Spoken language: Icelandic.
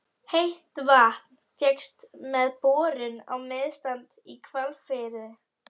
Heitt vatn fékkst með borun á Miðsandi í Hvalfirði.